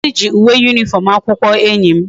Onye nkuzu gi uwe uniform akwukwo enyi m